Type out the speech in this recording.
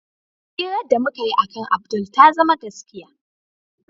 Hirar da mukayi akan Abdul ta zama gaskiya.